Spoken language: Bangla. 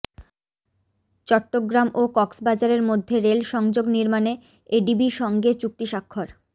চট্টগ্রাম ও কক্সবাজারের মধ্যে রেল সংযোগ নির্মাণে এডিবি সঙ্গে চুক্তি স্বাক্ষর